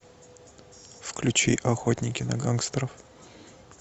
включи охотники на гангстеров